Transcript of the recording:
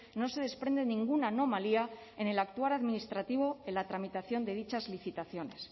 no se desprende ninguna anomalía en el actuar administrativo en la tramitación de dichas licitaciones